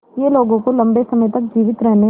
यह लोगों को लंबे समय तक जीवित रहने और